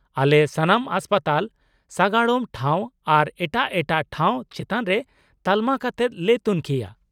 -ᱟᱞᱮ ᱥᱟᱱᱟᱢ ᱦᱟᱥᱯᱟᱛᱟᱞ ,ᱥᱟᱜᱟᱲᱚᱢ ᱴᱷᱟᱣ ᱟᱨ ᱮᱴᱟᱜ ᱮᱴᱟᱜ ᱴᱚᱴᱷᱟ ᱪᱮᱛᱟᱱ ᱨᱮ ᱛᱟᱞᱢᱟ ᱠᱟᱛᱮᱫ ᱞᱮ ᱛᱩᱱᱠᱷᱤᱭᱟ ᱾